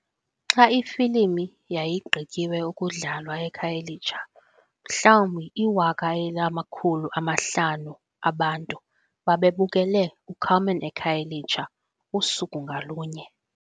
Xa ifilimu yayigqityiwe ukudlalwa eKhayelitsha, mhlawumbi iwaka elinamakhulu amahlanu abantu babebukele "U-Carmen eKhayelitsha" usuku ngalunye.